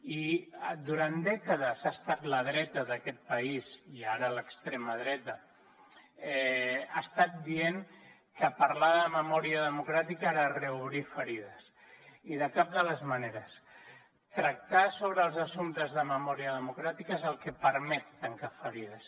i durant dècades la dreta d’aquest país i ara l’extrema dreta ha estat dient que parlar de memòria democràtica era reobrir ferides i de cap de les maneres tractar sobre els assumptes de memòria democràtica és el que permet tancar ferides